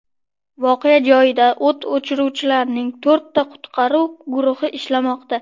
Voqea joyida o‘t o‘chiruvchilarning to‘rtta qutqaruv guruhi ishlamoqda.